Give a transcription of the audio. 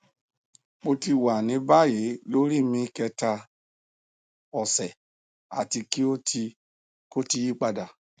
mo ti wa ni bayi lori mi kẹta ọsẹ ati ki o ti ko ti yipada